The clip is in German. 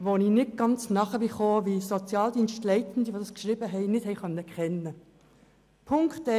Ich habe nicht ganz verstanden, wie die verfassenden Sozialdienstleitenden diese Tatsachen nicht kennen konnten.